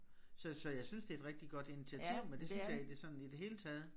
Så så jeg synes det et rigtig godt initiativ men det synes jeg i det sådan i det hele taget